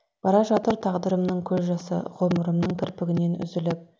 бара жатыр тағдырымның көз жасы ғұмырымның кірпігінен үзіліп